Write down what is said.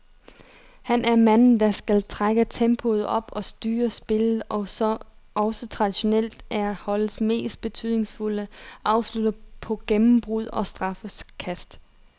Han er manden, der skal trække tempoet op og styre spillet, og som også traditionelt er holdets mest betydningsfulde afslutter på gennembrud og straffekast.